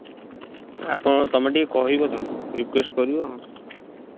ଆଉ କଣ ତମେ ଟିକେ କହିବ ତାଙ୍କୁ request କରିବ